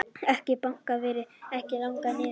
Eik Banki verði ekki lagður niður